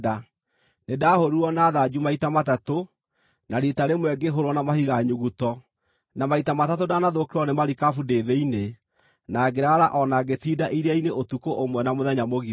Nĩndahũũrirwo na thanju maita matatũ, na riita rĩmwe ngĩhũũrwo na mahiga nyuguto, na maita matatũ ndanathũkĩrwo nĩ marikabu ndĩ thĩinĩ, na ngĩraara o na ngĩtinda iria-inĩ ũtukũ ũmwe na mũthenya mũgima.